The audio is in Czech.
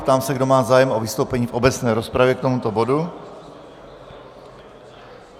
Ptám se, kdo má zájem o vystoupení v obecné rozpravě k tomuto bodu.